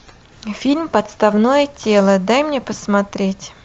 фильм подставное тело дай мне посмотреть